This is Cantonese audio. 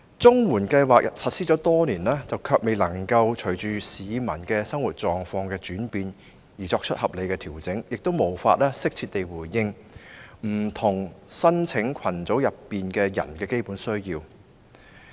綜援計劃實施多年，但卻未能隨着市民的生活狀況轉變而作出合理調整，亦無法適切回應不同申請群組人士的基本需要。